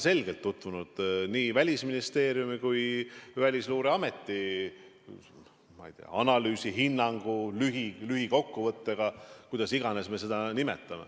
Ma olen tutvunud nii Välisministeeriumi kui ka Välisluureameti, ma ei tea, analüüsi või hinnangu lühilühikokkuvõttega – kuidas iganes me seda ei nimeta.